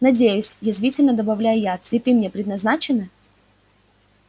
надеюсь язвительно добавляю я цветы мне предназначены